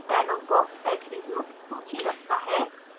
dialogue box attribute सूची रखता है